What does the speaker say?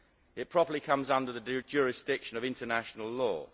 It probably comes under the jurisdiction of international law.